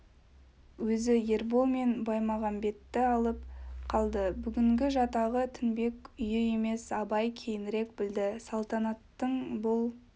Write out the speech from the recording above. өзі ербол мен баймағамбетті алып қалды бүгінгі жатағы тінбек үйі емес абай кейінірек білді салтанаттың бұл